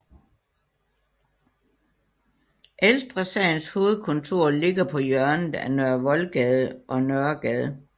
Ældre Sagens hovedkontor ligger på hjørnet af Nørre Voldgade og Nørregade